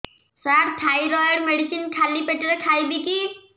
ସାର thyroid medicine ଖାଲି ପେଟରେ ଖାଇବି କି